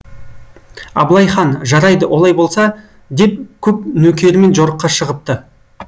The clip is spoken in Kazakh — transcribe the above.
абылай хан жарайды олай болса деп көп нөкерімен жорыққа шығыпты